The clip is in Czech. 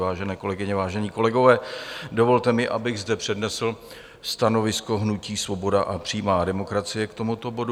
Vážené kolegyně, vážení kolegové, dovolte mi, abych zde přednesl stanovisko hnutí Svoboda a přímá demokracie k tomuto bodu.